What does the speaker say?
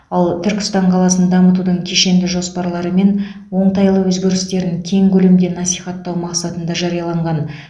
ал түркістан қаласын дамытудың кешенді жоспарлары мен оңтайлы өзгерістерін кең көлемде насихаттау мақсатында жарияланған